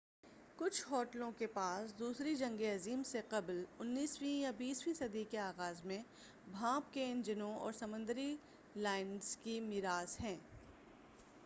کچھ ہوٹلوں کے پاس دوسری جنگ عظیم سے قبل 19 ویں یا 20 ویں صدی کے آغاز میں بھانپ کے انجنوں اور سمندری لائنرز کی مِیراث ہیں